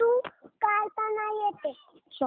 sharpener घे